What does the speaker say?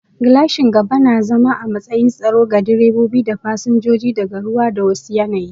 Gilashin gaba na zama a matsayin tsaro ga direba da fasinjoji daga ruwa da wa su yanayi